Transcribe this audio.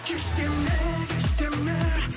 кеш деме кеш деме